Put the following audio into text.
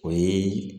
O ye